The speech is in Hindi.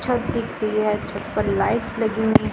छत दिख रही है छत पर लाइट्स लगी हुई हैं।